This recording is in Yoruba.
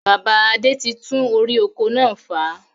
Bàbá Adé tí tún orí oko náà fà